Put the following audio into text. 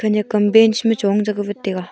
nekam bench ma chong che wat taiga.